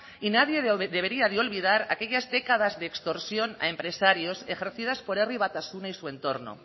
y nadie debería de olvidar aquellas décadas de extorsión a empresarios ejercidas por herri batasuna y su entorno